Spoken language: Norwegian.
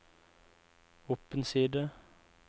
opp en side